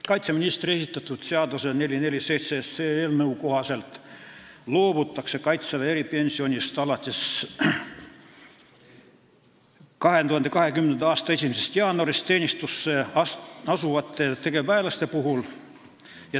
Kaitseministri esitatud seaduseelnõu 447 kohaselt loobutakse kaitseväe eripensioni maksmisest tegevväelastele, kes asuvad teenistusse alates 2020. aasta 1. jaanuarist.